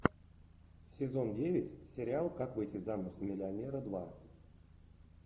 сезон девять сериал как выйти замуж за миллионера два